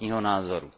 vlastního názoru.